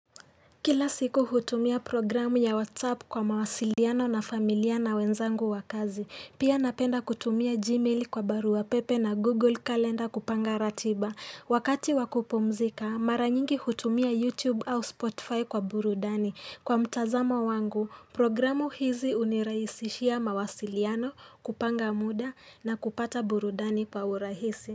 Kila siku hutumia programu ya WhatsApp kwa mawasiliano na familia na wenzangu wa kazi. Pia napenda kutumia Gmail kwa baru pepe na Google Calendar kupanga ratiba. Wakati wakupumzika, mara nyingi hutumia YouTube au Spotify kwa burudani. Kwa mtazamo wangu, programu hizi hunirahisishia mawasiliano kupanga muda na kupata burudani kwa urahisi.